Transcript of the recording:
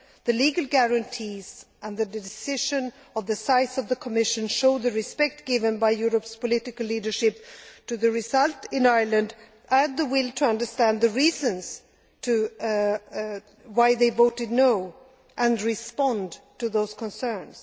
The legal guarantees and the decision on the size of the Commission show the respect given by Europe's political leadership to the result in Ireland and the will to understand the reasons why they voted no' and respond to those concerns.